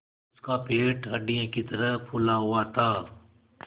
उसका पेट हंडिया की तरह फूला हुआ था